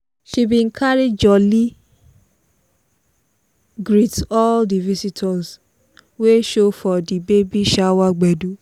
she bin carry jolly greet all di visitors wey show for di baby shower gbedu.